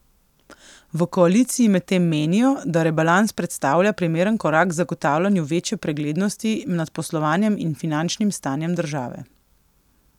V koaliciji medtem menijo, da rebalans predstavlja primeren korak k zagotavljanju večje preglednosti nad poslovanjem in finančnim stanjem države.